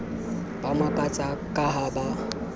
ba makatsa ka ha ba